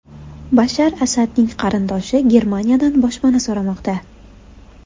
Bashar Asadning qarindoshi Germaniyadan boshpana so‘ramoqda.